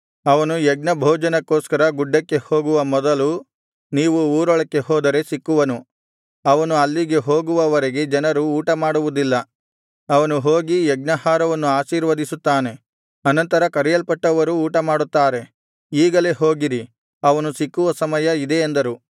ಅವನು ಯಜ್ಞಭೋಜನಕ್ಕೋಸ್ಕರ ಗುಡ್ಡಕ್ಕೆ ಹೋಗುವ ಮೊದಲು ನೀವು ಊರೊಳಕ್ಕೆ ಹೋದರೆ ಸಿಕ್ಕುವನು ಅವನು ಅಲ್ಲಿಗೆ ಹೋಗುವ ವರೆಗೆ ಜನರು ಊಟಮಾಡುವುದಿಲ್ಲ ಅವನು ಹೋಗಿ ಯಜ್ಞಾಹಾರವನ್ನು ಆಶೀರ್ವದಿಸುತ್ತಾನೆ ಅನಂತರ ಕರೆಯಲ್ಪಟ್ಟವರು ಊಟಮಾಡುತ್ತಾರೆ ಈಗಲೇ ಹೋಗಿರಿ ಅವನು ಸಿಕ್ಕುವ ಸಮಯ ಇದೇ ಅಂದರು